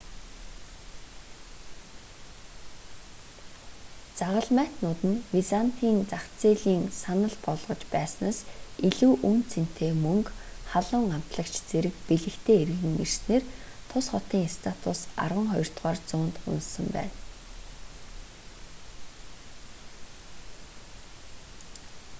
загалмайтнууд нь византын зах зээлийн саналж болгож байснаас илүү үнэ цэнэтэй мөнгө халуун амтлагч зэрэг бэлэгтэй эргэн ирсэнээр тус хотын статус арванхоёрдугаар зуунд унасан байна